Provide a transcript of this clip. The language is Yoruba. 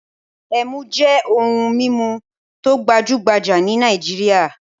Ẹmu jẹ́ ohun-mímu tó gbajú-gbajà ní Nàìjíríà.